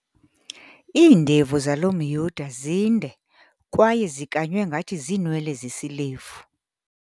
Iindevu zalo mYuda zinde kwaye zikanywe ngathi ziinwele zesilevu.